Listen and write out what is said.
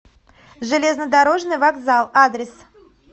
железнодорожный вокзал адрес